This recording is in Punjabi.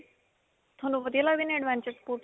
ਤੁਹਾਨੂੰ ਵਧੀਆ ਲਗਦੇ ਦੇ adventure sports.